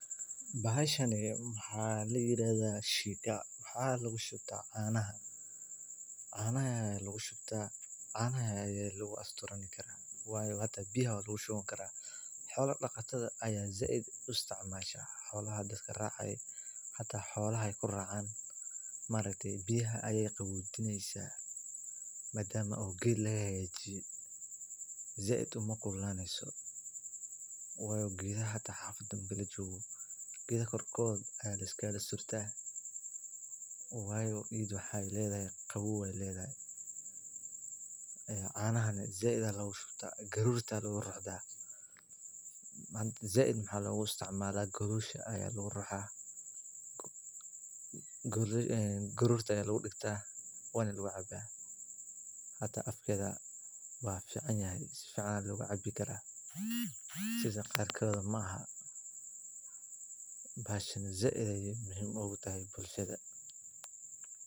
Bahasha waxaa ladahaa shiika waxa lagu shubya canaha iyo biyaha xoola daqatada ayaa sait u isticmaalan biyaha ayeey qabojineyaa geedaha kor kooda ayaa liskaga surta qaboow ayeey ledahay garoor ayaa lagu shubta waa lagu digtaa waana lagu cabi karaa afkeeda wuu fican sait ayeey muhiim oogu tahay bulshada.